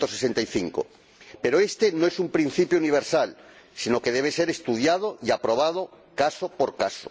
165. Pero este no es un principio universal, sino que debe ser estudiado y aprobado caso por caso.